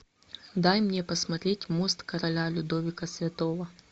дай мне посмотреть мост короля людовика святого